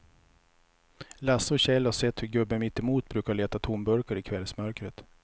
Lasse och Kjell har sett hur gubben mittemot brukar leta tomburkar i kvällsmörkret.